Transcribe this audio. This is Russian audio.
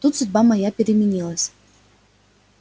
тут судьба моя переменилась